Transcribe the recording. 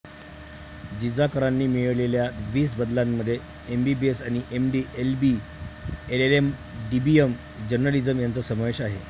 जिजा करांनी मिळविलेल्या वीस बदल्यांमध्ये एमबीबीएस आणि MD LB LLM DBM journalism यांचा समावेश आहे